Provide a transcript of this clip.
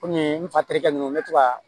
Kɔmi n fa terikɛ nunnu n be to ka